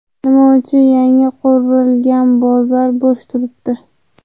Nima uchun yangi qurilgan bozor bo‘sh turibdi?